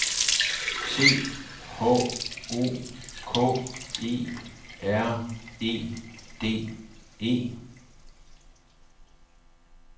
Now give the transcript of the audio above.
C H O K E R E D E